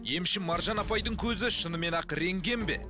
емші маржан апайдың көзі шынымен ақ рентген бе